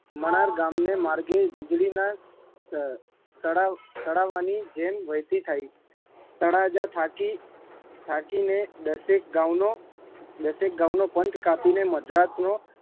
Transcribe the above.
મણાર ગામને માર્ગે વીજળીના સ સડાવ સડાવવાની જેમ વહેતી થાઈ તળાજા થાકી થાકીને દસેક ગાઉંનો દસેક ગાઉંનો પંથ કાપીને મદ્રાસનો